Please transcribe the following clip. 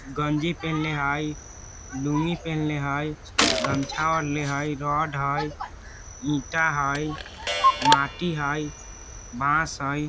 गंजी पेहेने हई लुंगी पेहेने हाई गमछा ओढ़ले हई रोड हई ईंट हाई माटी हई बांस हई।